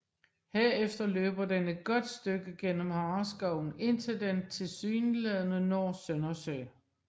Herefter løber den et godt stykke gennem Hareskoven indtil den tilsyneladende når Søndersø